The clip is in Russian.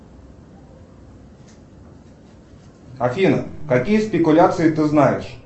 афина какие спекуляции ты знаешь